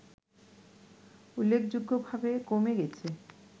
উল্লেখযোগ্য ভাবে কমে গেছে